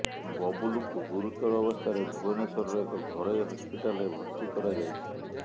ବବୁଲୁଙ୍କୁ ଗୁରୁତର ଅବସ୍ଥାରେ ଭୁବନେଶ୍ୱରର ଏକ ଘରୋଇ ହସ୍ପିଟାଲରେ ଭର୍ତ୍ତି କରାଯାଇଛି